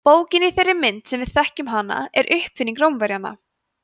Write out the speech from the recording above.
bókin í þeirri mynd sem við þekkjum hana er uppfinning rómverjanna